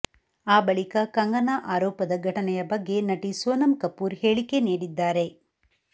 ಆ ಬಳಿಕ ಕಂಗನಾ ಆರೋಪದ ಘಟನೆಯ ಬಗ್ಗೆ ನಟಿ ಸೋನಮ್ ಕಪೂರ್ ಹೇಳಿಕೆ ನೀಡಿದ್ದಾರೆ